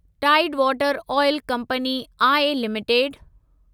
Tide water oil company I limited